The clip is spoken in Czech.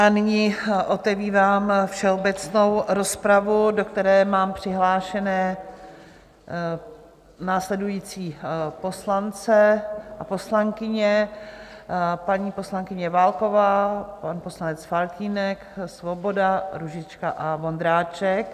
A nyní otevírám všeobecnou rozpravu, do které mám přihlášené následující poslance a poslankyně: paní poslankyně Válková, pan poslanec Faltýnek, Svoboda, Růžička a Vondráček.